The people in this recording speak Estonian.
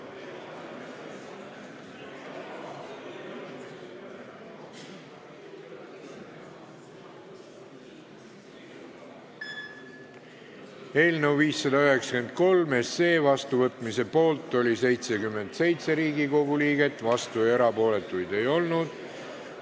Hääletustulemused Eelnõu 593 seadusena vastuvõtmise poolt oli 77 Riigikogu liiget, vastuolijaid ja erapooletuid ei olnud.